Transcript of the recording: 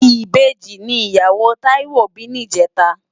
Ibeji ni iyáwó Taiwo bi nijètá